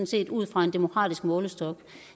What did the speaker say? set ud fra en demokratisk målestok